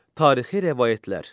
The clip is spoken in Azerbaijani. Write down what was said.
Tarixi rəvayətlər.